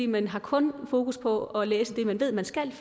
man har kun fokus på at læse det man ved man skal